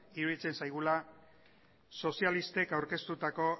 iruditzen zaigula sozialistek aurkeztutako